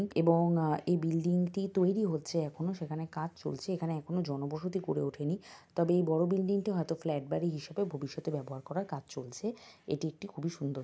এবং আহ এই বিল্ডিং -টি তৈরী হচ্ছে এখনো সেখানে কাজ চলছে এখানে এখনো জনবসতি গড়ে ওঠেনি । তবে এই বড়ো বিল্ডিং -টি হয়তো ফ্ল্যাট বাড়ি হিসেবে ভবিষ্যতে ব্যবহার করার কাজ চলছে। এটি একটি খুবি সুন্দ--